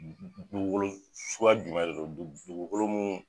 Dugukolo suguya jumɛn de don dugu dugukolo mun.